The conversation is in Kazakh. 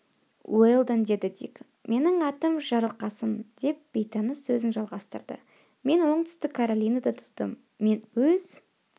уэлдон деді дик менің атым жарылқасын деп бейтаныс сөзін жалғастырды мен оңтүстік каролинада тудым мен өз